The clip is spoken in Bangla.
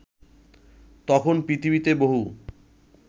তখন পৃথিবীতে বহু